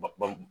Ba ba